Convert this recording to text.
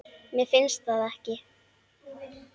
Mér finnst það.